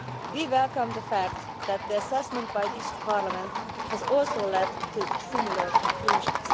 We welcome the fact that the assessment by this Parliament has also led to similar conclusions.